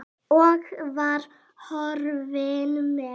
Og var horfinn með.